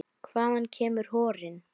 Hvaðan kemur horinn?